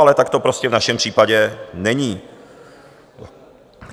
Ale tak to prostě v našem případě není.